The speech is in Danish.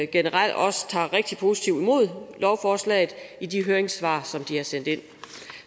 generelt tager rigtig positivt imod lovforslaget i de høringssvar som de har sendt ind